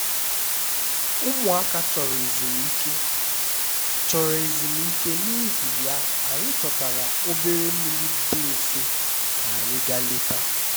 ụmụaka chọrọ ezumike chọrọ ezumike n'ihi ya anyị chọtara obere mmiri dị nso ka anyị gaa leta